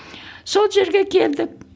сол жерге келдік